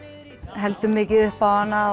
heldur mikið upp á hana